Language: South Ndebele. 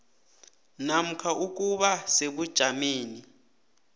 namkha ukuba sebujameni